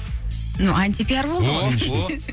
мынау антипиар болды ғой